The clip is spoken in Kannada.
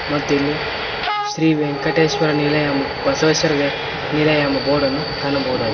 ಮತ್ತು ಇಲ್ಲಿ ಶ್ರೀ ವೆಂಕಟೇಶ್ವರ ನಿಲಯಂ ಬಸವೇಶ್ವರ ವೆ ನಿಲಯ ಎಂಬ ಬೋರ್ಡ್ ಅನ್ನು ಕಾಣಬಹುದಾಗಿದೆ.